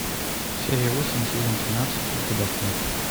серия восемь сезон тринадцать ликвидация